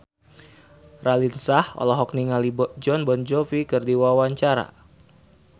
Raline Shah olohok ningali Jon Bon Jovi keur diwawancara